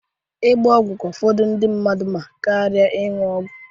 Ịgba ọgwụ ka ụfọdụ ndị mmadụ mma karia ọgwụ ọnụnụ.